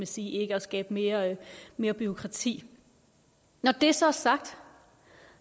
sige ikke at skabe mere mere bureaukrati når det så er sagt